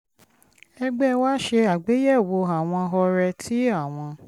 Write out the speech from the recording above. ẹgbẹ́ wa ṣe àgbéyẹ̀wò àwọn ọrẹ tí àwọn